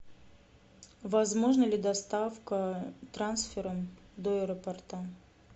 возможна ли доставка трансфером до аэропорта